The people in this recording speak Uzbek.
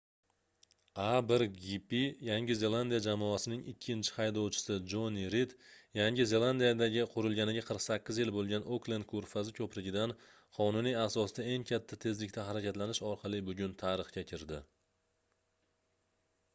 a1gp yangi zelandiya jamoasining ikkinchi haydovchisi joni rid yangi zelandiyadagi qurilganiga 48 yil boʻlgan oklend koʻrfazi koʻprigidan qonuniy asosda eng katta tezlikda harakatlanish orqali bugun tarixga kirdi